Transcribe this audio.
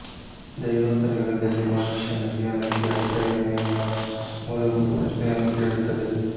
ದೈವೋತ್ತರ ಯುಗದಲ್ಲಿ ಮನುಷ್ಯನ ಜೀವನಕ್ಕೆ ಅರ್ಥವೇನು ಎಂಬ ಮೂಲಭೂತ ಪ್ರಶ್ನೆಯನ್ನು ಕೇಳುತ್ತದೆ